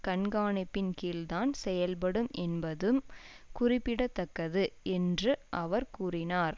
கண்காணிப்பின் கீழ்தான் செயல்படும் என்பதும் குறிப்பிட தக்கது என்று அவர் கூறினார்